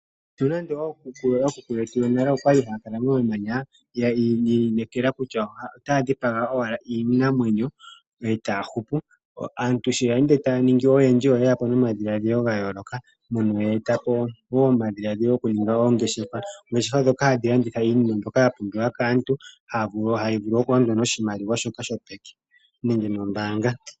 Nonande ookuku yetu yonale yakala momamanya, yiinekala kutya otaya dhipiga owala iinamwenyo etaya hupu. Aantu sho ye ende taya ningi oyendji ,oye etapo omadhiladhilo ga yooloka, mpono yeetapo woo omadhiladhilo gokuninga oongeshefa. Ongeshefa dhoka hadhi landitha iinima mbyoka ya pumbiwa kaantu ,hadhi vulu kulandwa niimaliwa yopeke nenge noombanga.